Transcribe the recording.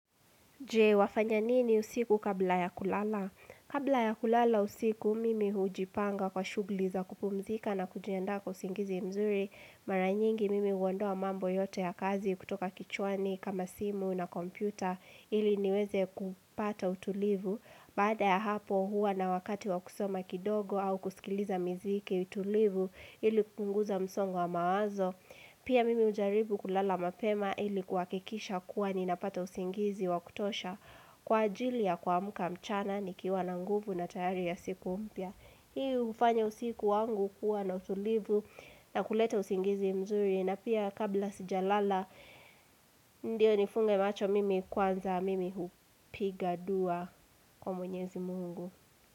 Je, wafanya nini usiku kabla ya kulala? Kabla ya kulala usiku, mimi hujipanga kwa shughuli za kupumzika na kujiandaa kwa usingizi mzuri. Mara nyingi mimi huondoa mambo yote ya kazi kutoka kichwani kama simu na kompyuta ili niweze kupata utulivu. Baada ya hapo huwa na wakati wa kusoma kidogo au kusikiliza miziki tulivu ili kupunguza msongo wa mawazo. Pia mimi hujaribu kulala mapema ili kuhakikisha kuwa ninapata usingizi wa kutosha kwa ajili ya kuamka mchana nikiwa na nguvu na tayari ya siku mpya. Hii hufanya usiku wangu kuwa na utulivu na kuleta usingizi mzuri na pia kabla sijalala ndio nifunge macho mimi kwanza mimi hupiga dua kwa mwenyezi mungu.